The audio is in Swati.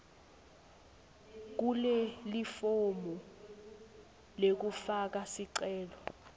kulelifomu lekufaka sicelo